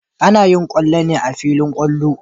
Ana yin kwallo ne a filin kwallo.